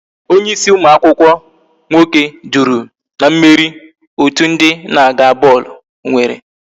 Onye ịsị ụmụ akwụkwọ nwoke duru na mmeri otu ndị na-aga bọọlụ nwere